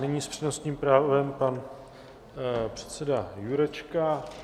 Nyní s přednostním právem pan předseda Jurečka.